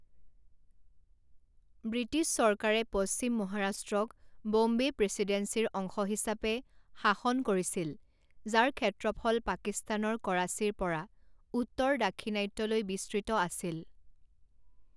British চৰকাৰে পশ্চিম মহাৰাষ্ট্ৰক ব'ম্বে প্ৰেচিডেন্সিৰ অংশ হিচাপে শাসন কৰিছিল, যাৰ ক্ষেত্ৰফল পাকিস্তানৰ কৰাচীৰ পৰা উত্তৰ দাক্ষিণাত্যলৈ বিস্তৃত আছিল।